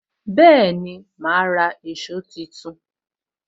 Bẹẹni, ma ra èsó tuntun